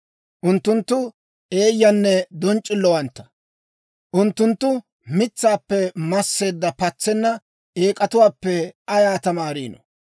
Unttunttu eeyyanne donc'c'illowantta; unttunttu mitsaappe masseedda, patsenna eek'atuwaappe ayaa tamaariino?